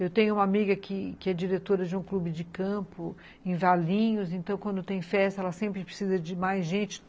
Eu tenho uma amiga que que é diretora de um clube de campo em Valinhos, então quando tem festa ela sempre precisa de mais gente.